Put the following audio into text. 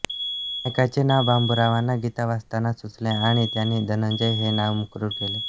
नायकाचे नाव बाबूरावांना गीता वाचताना सुचले आणि त्यांनी धनंजय हे नाव मुक्रर केले